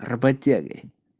работяги